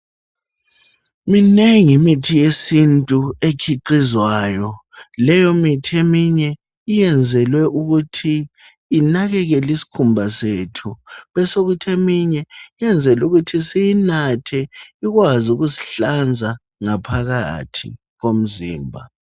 Minengi imithi yesintu etshiqizwayo. Leyo mithi eminye iyenzelwe ukuthi inakekeliskhumba sethu. Besekutheminye iyenzelukuthi siyinathe ikwazi ukusi hlanza ngaphakathi komzimba.